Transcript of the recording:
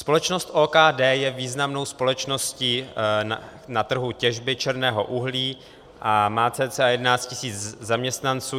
Společnost OKD je významnou společností na trhu těžby černého uhlí a má cca 11 tis. zaměstnanců.